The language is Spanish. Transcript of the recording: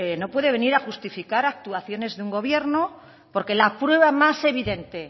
no puede venir a justificar actuaciones de un gobierno porque la prueba más evidente